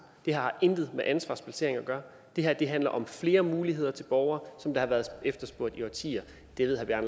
det har intet med ansvarsplacering at gøre det her handler om flere muligheder til nogle borgere som det har været efterspurgt i årtier det ved herre